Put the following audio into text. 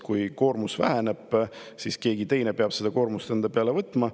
Kui koormus väheneb, siis keegi teine peab selle koormuse enda peale võtma.